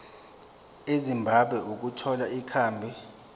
ezimbabwe ukuthola ikhambi